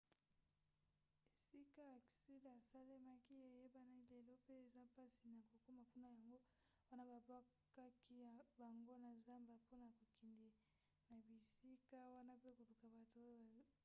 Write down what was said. esika aksida esalemaki eyebani lelo mpe eza mpasi na kokoma kuna yango wana babwakaki bango na zamba mpona kokende na bisika wana mpe koluka bato oyo babiki